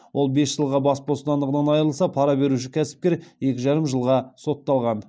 ол бес жылға бас бостандығынан айырылса пара беруші кәсіпкер екі жарым жылға сотталған